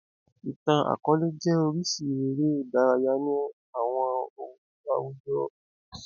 Ìtàn-akọọlẹ jẹ́ orísìí eré ìdárayá ní àwọn àwùjọ àtijọ́